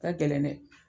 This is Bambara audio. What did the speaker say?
Ka gɛlɛn dɛ